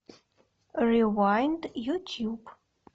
ревайнд ютуб